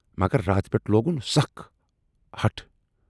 مگر راتہٕ پٮ۪ٹھٕ لوگُن سخ ہٹھ۔